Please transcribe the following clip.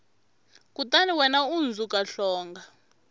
kutani wena u hundzuka hlonga